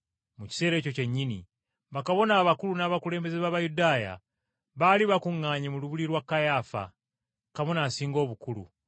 Mu kiseera ekyo kyennyini, bakabona abakulu n’abakulembeze b’Abayudaaya baali bakuŋŋaanye mu lubiri lwa Kayaafa, Kabona Asinga Obukulu,